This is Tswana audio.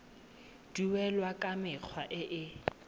duelwa ka mekgwa e e